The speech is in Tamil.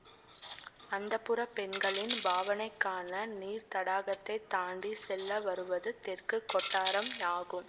அந்தப்புரப் பெண்களின் பாவனைக்கான நீர்த்தடாகத்தைத் தாண்டி செல்ல வருவது தெற்கு கொட்டாரம் ஆகும்